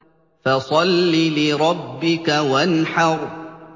فَصَلِّ لِرَبِّكَ وَانْحَرْ